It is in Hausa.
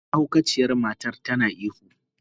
Mahaukaciyar matar tana ihu.